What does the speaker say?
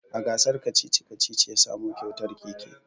A gasar kacici-kacici ya samo kyautar keke